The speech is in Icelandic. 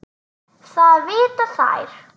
Það vita þær.